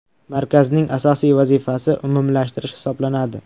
Markazning asosiy vazifasi umumlashtirish hisoblanadi.